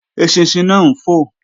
Eṣinṣin náà ń fò